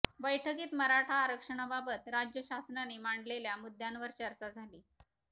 बैठकीत मराठा आरक्षणाबाबत राज्य शासनाने मांडलेल्या मुद्यांवर चर्चा झाली